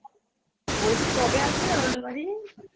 বলছি কবে আসবে আমাদের বাড়ি?